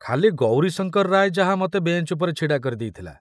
ଖାଲି ଗୌରୀଶଙ୍କର ରାୟ ଯାହା ମତେ ବେଞ୍ଚ ଉପରେ ଛିଡ଼ା କରି ଦେଇଥିଲା।